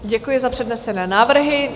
Děkuji za přednesené návrhy.